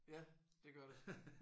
Ja det gør det